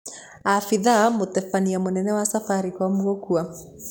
Abithaa mũtebania mũnene wa sabarikomu gũkua.